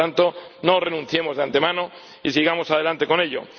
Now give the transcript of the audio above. Por tanto, no renunciemos de antemano y sigamos adelante con ello.